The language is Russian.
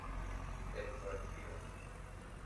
эдвард бил